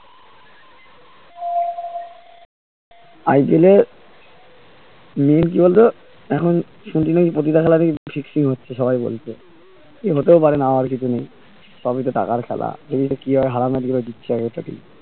IPL এ মেন ক বলতো এখন প্রতিটা খেলাতেই fifty মারছে বলছে হতেও পারে না হওয়ার কিছুই নেই তবেই তো টাকার খেলা এই কি আর হারা match গুলো জিতছে এক একটা team